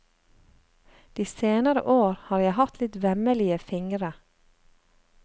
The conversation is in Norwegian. De senere år har jeg hatt litt vemmelige fingre.